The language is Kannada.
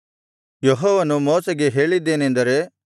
ಯೆಹೋವನು ಮೋಶೆಗೆ ಹೇಳಿದ್ದೇನೆಂದರೆ